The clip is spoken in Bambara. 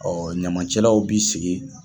ɲamacɛlaw b'i sigi.